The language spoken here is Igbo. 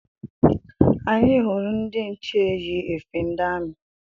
Anyị hụrụ ndị nche yi efe ndi amị